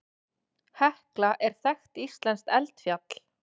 Hekla er þekkt íslenskt eldfjall.